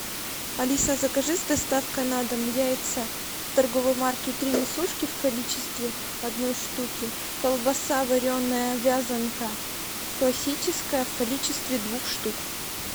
алиса закажи с доставкой на дом яйца торговой марки три несушки в количестве одной штуки колбаса вареная вязанка классическая в количестве двух штук